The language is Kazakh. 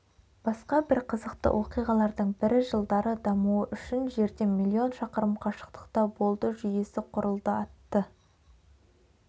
басқа бір қызықты оқиғалардың бірі жылдары дамуы үшін жерден миллион шақырым қашықтықта болды жүйесі құрылды атты